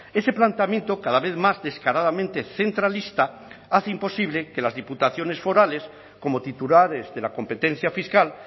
ese planteamiento cada vez más descaradamente centralista hace imposible que las diputaciones forales como titulares de la competencia fiscal